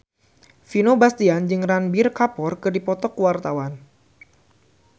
Vino Bastian jeung Ranbir Kapoor keur dipoto ku wartawan